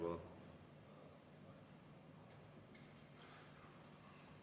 Palun!